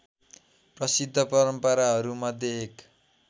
प्रसिद्ध परम्पराहरूमध्ये एक